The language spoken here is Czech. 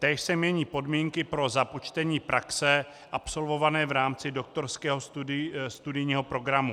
Též se mění podmínky pro započtení praxe absolvované v rámci doktorského studijního programu.